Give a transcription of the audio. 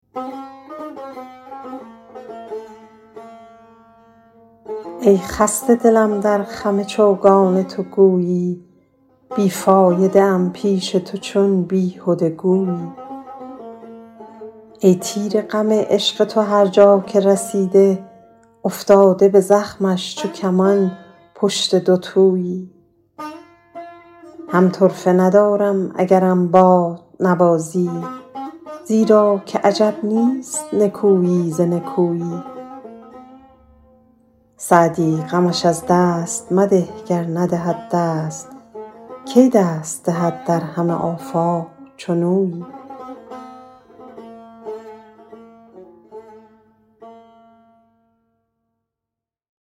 ای خسته دلم در خم چوگان تو گویی بی فایده ام پیش تو چون بیهده گویی ای تیر غم عشق تو هر جا که رسیده افتاده به زخمش چو کمان پشت دوتویی هم طرفه ندارم اگرم بازنوازی زیرا که عجب نیست نکویی ز نکویی سعدی غمش از دست مده گر ندهد دست کی دست دهد در همه آفاق چنویی